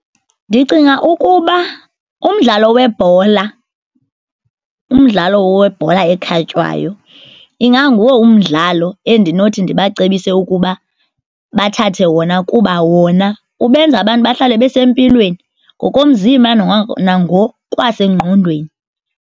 Ndicinga ukuba umdlalo webhola, umdlalo webhola ekhatywayo inganguwo umdlalo endinothi ndibacebise ukuba bathathe wona kuba wona ubenza abantu bahlale besempilweni ngokomzimba nangokwasengqondweni.